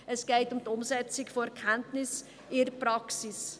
Es geht um die Umsetzung von Erkenntnissen in der Praxis.